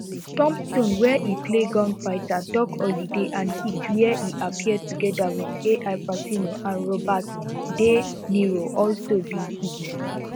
tombstone wia e play gunfighter doc holliday and heat wia e appear togeda wit ai pacino and robert de niro also be hits